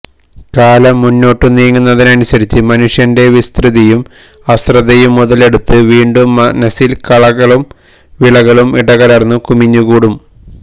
കാലം മുന്നോട്ടു നീങ്ങുന്നതിനനുസരിച്ച് മനുഷ്യന്റെ വിസ്മൃതിയും അശ്രദ്ധയും മുതലെടുത്ത് വീണ്ടും മനസ്സില് കളകളും വിളകളും ഇടകലര്ന്നു കുമിഞ്ഞുകൂടാം